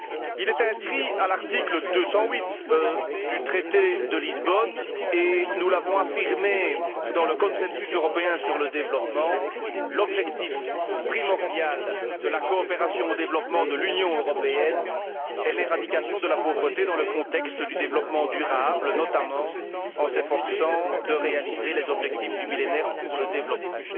Il est inscrit à l'article 208 du traité de Lisbonne, et nous l'avons affirmé dans le consensus européen sur le développement, l'objectif primordial de la coopération au développement de l'Union européenne est l'éradication de la pauvreté dans le contexte du développement durable, notamment en s'efforçant de réaliser les objectifs du Millénaire pour le développement.